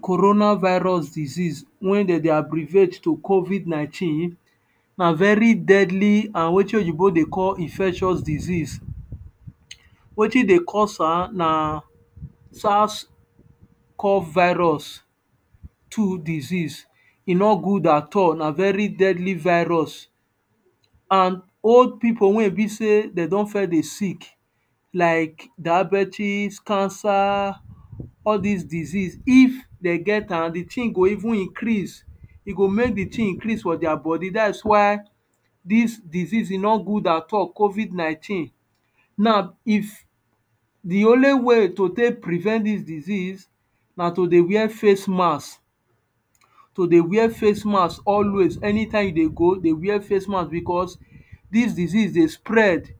corona virus disease wey dem de abbreviate to covid nineteen, na very deadly and wetin oyibo de call infectious disease wetin de cause am na sas call virus two disease e no good at all na very deadly virus and old people wey e be say dem don first de sick like diabetics, cancer, all dis disease if dem get am de thing go even increase e go make the thing increase for their body that's why dis disease e no good at all, covid nineteen now if the only way to take prevent dis disease na to de wear face mask to de wear face mask always, anytime you de go de wear face mask because dis disease de spread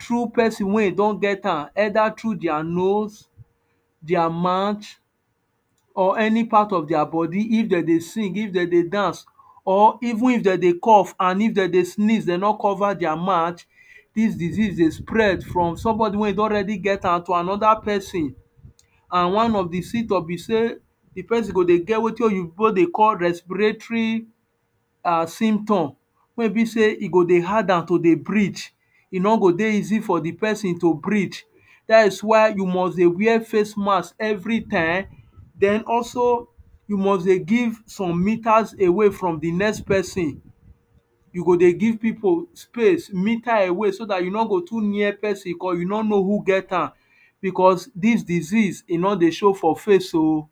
through person wey e don get am either through their nose their mouth or any part of their body, if they dem dey sing, if they dem dey dance or even if dem dey cough, and if dem dey sneeze de no cover their mouth dis disease de spread from somebody wey e don already get am to another person and one of the symptom be say the person go de get wetin oyibo de call respiratory um symptom, wey e be say e go de hard am to de breath e no go de easy for the person to breath that's why you must de wear face mask very time then also, you must de give some meters away from the next person you go de give people space, meter away so that you no go too near person beacause you no know who get am because dis disease e no de show for face o.